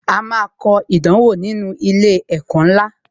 A máa kọ ìdánwò nínú ilé ẹ̀kọ́ ńlá